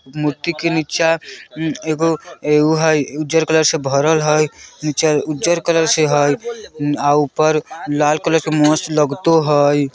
मूर्ति के नीचा एगो एगो हई उज्जर कलर से भरल हई नीचा उज्जर कलर से हई आ ऊपर लाल कलर के मस्त लगतो हई।